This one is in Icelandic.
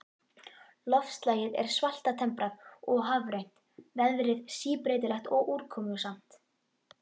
Loftslagið er svaltemprað og hafrænt, veðrið síbreytilegt og úrkomusamt.